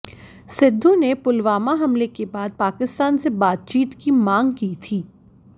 सिद्धू ने पुलवामा हमले के बाद पाकिस्तान से बातचीत की मांग की थी